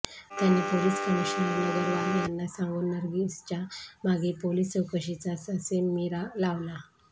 त्यांनी police commissioner Nagarwala यांना सांगून नर्गीसच्या मागे पोलिस चौकशीचा ससेमिरा लावला